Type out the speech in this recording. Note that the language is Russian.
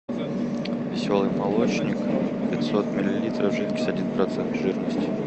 веселый молочник пятьсот миллилитров жидкость один процент жирности